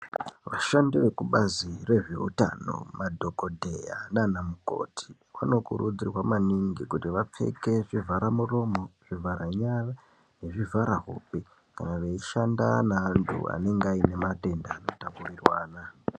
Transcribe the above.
Vashandi vezvekubazi rezveutano madhokodheya naanamukoti vanokurudzirwa maningi kuti vapfeke zvivhara muromo, zvivhara nyara nezvivhara hope kana veishanda nevantu vanenge vane matenda anotapurirwana.